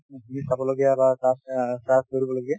তুমি চাব লগীয়া বা